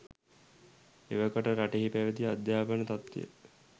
එවකට රටෙහි පැවැති අධ්‍යාපන තත්වය